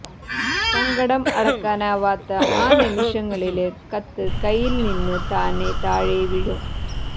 സങ്കടം അടക്കാനാവാത്ത ആ നിമിഷങ്ങളില് കത്ത് കൈയില്നിന്ന് താനേ താഴെ വീഴും